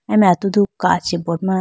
aye mai atudu kachi board ma.